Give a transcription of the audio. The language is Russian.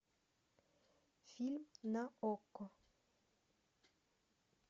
фильм на окко